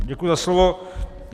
Děkuji za slovo.